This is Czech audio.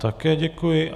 Také děkuji.